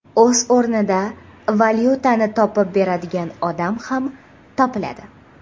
O‘z o‘rnida valyutani topib beradigan odam ham topiladi.